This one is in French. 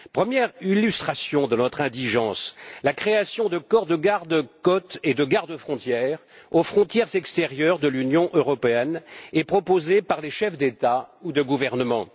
Première illustration de notre indigence la création de corps de garde côtes et de gardes frontières aux frontières extérieures de l'Union européenne est proposée par les chefs d'État ou de gouvernement.